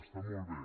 està molt bé